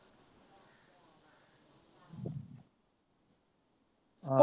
ਆ।